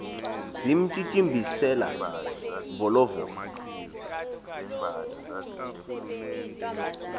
zimtyityimbisela volo volo